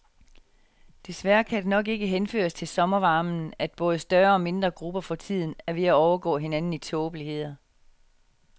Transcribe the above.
Desværre kan det nok ikke henføres til sommervarmen, at både større og mindre grupper for tiden er ved at overgå hinanden i tåbeligheder.